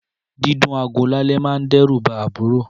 Dìdún àgò làlẹ́ mà dẹ rù bà àbùró